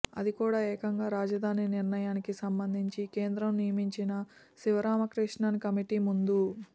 అది కూడా ఏకంగా రాజధాని నిర్ణయానికి సంబంధించి కేంద్రం నియమించిన శివరామకృష్ణన్ కమిటీ ముందు